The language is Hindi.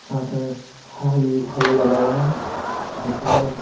साथ हल हल लगा हुआ है जिसमें--